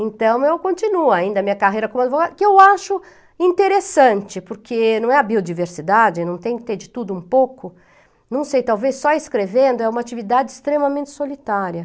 Então, eu continuo ainda a minha carreira como advogada, que eu acho interessante, porque não é a biodiversidade, não tem que ter de tudo um pouco, não sei, talvez só escrevendo, é uma atividade extremamente solitária.